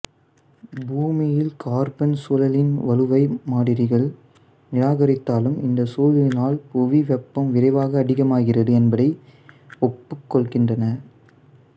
பூமியில் கார்பன் சுழலின் வலுவை மாதிரிகள் நிராகரித்தாலும் இந்த சூழலினால் புவி வெப்பம் விரைவாக அதிகமாகிறது என்பதை ஒத்துக்கொள்கின்றன